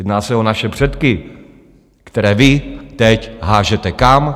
Jedná se o naše předky, které vy teď hážete kam?